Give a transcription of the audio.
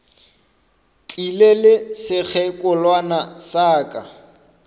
tlile le sekgekolwana sa ka